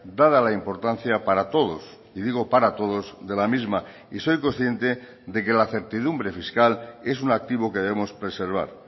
dada la importancia para todos y digo para todos de la misma y soy consciente de que la certidumbre fiscal es un activo que debemos preservar